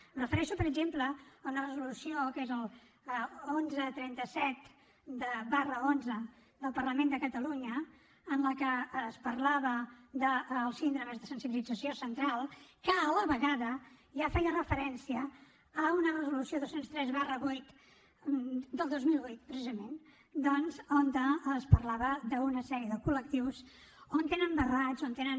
em refereixo per exemple a una resolució que és la onze trenta set xi del parlament de catalunya en la que es parlava de les síndromes de sensibilització central que a la vegada ja feia referència a la resolució dos cents i tres viii del dos mil vuit precisament doncs on es parlava d’una sèrie de col·lectius on tenen barrats on tenen